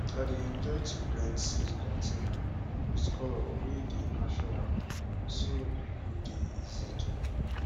i dey enjoy to paint seed container with colour wey dey natural so e go dey easy to know